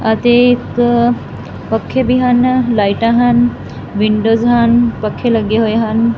ਅਤੇ ਇੱਕ ਪੱਖੇ ਵੀ ਹਨ ਲਾਈਟਾਂ ਹਨ ਵਿੰਡੋਜ ਹਨ ਪੱਖੇ ਲੱਗੇ ਹੋਏ ਹਨ।